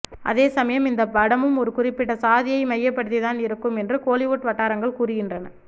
அதேசமயம் இந்த படமும் ஒரு குறிப்பிட்ட சாதியை மையப்படுத்தி தான் இருக்கும் என்று கோலிவுட் வட்டாரங்கள் கூறுகின்றன